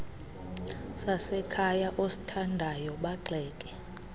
sasekhaya osithandayo bagxeke